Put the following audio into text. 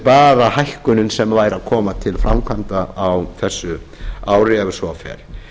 bara hækkunin sem væri að koma til framkvæmda á þessu ári ef svo fer